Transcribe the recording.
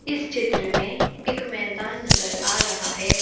इस चित्र मे एक मैदान नजर आ रहा है।